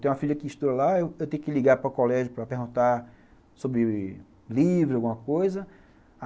Tem uma filha que estuda lá, eu tenho que ligar para o colégio para perguntar sobre livros, alguma coisa.